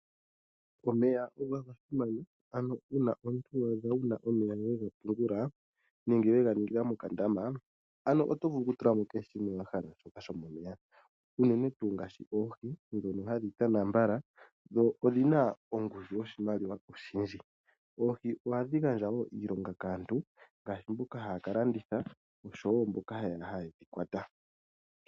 Omeya oga simana, ano uuna omuntu wa adha wu na omeya we ga pungula nenge we ga tula mokandama oto vulu okutula mo kehe shoka wa hala, shoka shomomeya, unene ngaashi oohi ndhono hadhi tana mbala dho odhi na ongushu yoshimaliwa oshindji. Oohi ohadhi gandja wo iilonga kaantu ngaashi mboka haya ka landitha noshowo mboka haye dhi kwata.